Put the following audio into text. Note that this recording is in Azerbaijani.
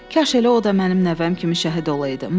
Kaş elə o da mənim nəvəm kimi şəhid olaydı.